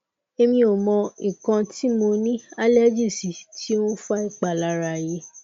emi o mo ikan ti mo ni allergy si ti o n fa ipalara yi